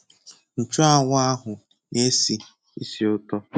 Nchụanwụ ahụ na-esi ísì ụtọ.